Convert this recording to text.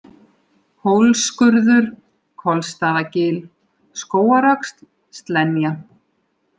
Hólsskurður, Kolsstaðgil, Skógaröxl, Slenja